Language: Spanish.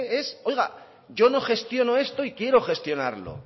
es oiga yo no gestiono esto y quiero gestionarlo